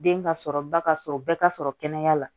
Den ka sɔrɔ ba ka sɔrɔ bɛɛ ka sɔrɔ kɛnɛya la